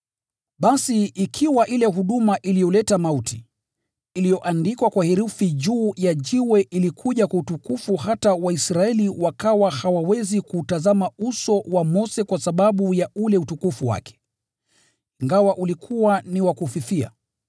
Basi ikiwa ile huduma iliyoleta mauti, iliyoandikwa kwa herufi juu ya jiwe ilikuja kwa utukufu, hata Waisraeli wakawa hawawezi kuutazama uso wa Mose kwa sababu ya ule utukufu wake ingawa ulikuwa ni wa kufifia,